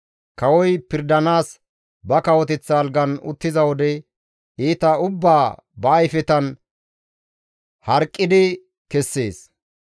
Kawoy pirdanaas ba kawoteththa algan uttiza wode iita ubbaa ba ayfetan harqidi kessees.